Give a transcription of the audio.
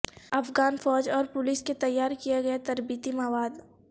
افغان فوج اور پولیس کے تیار کیا گیا تربیتی مواد